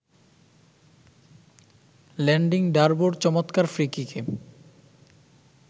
landing ডার্বোর চমৎকার ফ্রি-কিকে